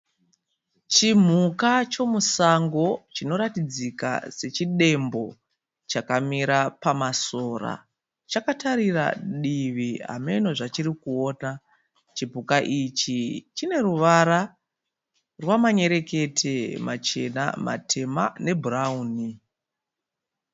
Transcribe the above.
Chimhuka chemusango chinoratidzika sechidembo. Chakamira pamasora. Chakatarira divi hameno zvachirikuona. Chipuka ichi chine ruvara rwamanyerekete machena, matema nebhurawuni.